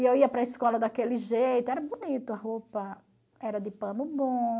E eu ia para a escola daquele jeito, era bonito a roupa, era de pano bom.